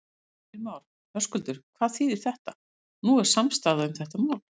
Heimir Már: Höskuldur, hvað þýðir þetta, nú er samstaða um þetta mál?